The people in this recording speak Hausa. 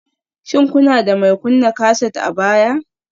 Shin kuna da mai kunna kaset a baya?